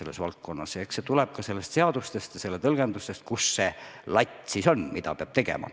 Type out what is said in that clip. Eks see tuleb ka seadusest ja selle tõlgendusest, kus see latt siis on, mida peab tegema.